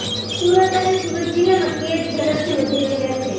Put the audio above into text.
સુરત અને સુરત જિલ્લામાં કેસ ઝડપથી વધી રહ્યા છે